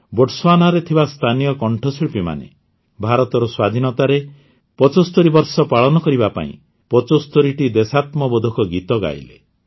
ବୋଟସ୍ୱାନାରେ ଥିବା ସ୍ଥାନୀୟ କଣ୍ଠଶିଳ୍ପୀମାନେ ଭାରତର ସ୍ୱାଧୀନତାରେ ୭୫ ବର୍ଷ ପାଳନ କରିବା ପାଇଁ ୭୫ଟି ଦେଶାତ୍ମବୋଧକ ଗୀତ ଗାଇଲେ